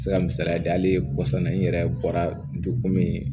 Se ka misaliya di hali kɔsa n ye n yɛrɛ bɔra ndomin ye